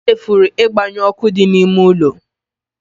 I chefuru ịgbanyụ ọkụ dị n'ime ụlọ